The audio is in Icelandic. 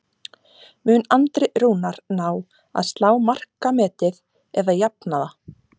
Mun Andri Rúnar ná að slá markametið eða jafna það?